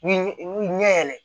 Ni ɲɛ yɛlɛ